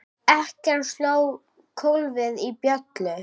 Ekkjan sló kólfi í bjöllu.